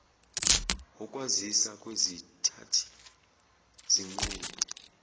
ukwazisa kwezithathi zinqumo